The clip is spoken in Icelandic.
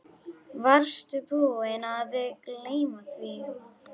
Varstu búinn að gleyma því?